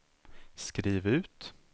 skriv ut